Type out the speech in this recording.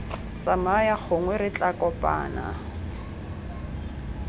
tsamaya gongwe re tla kopana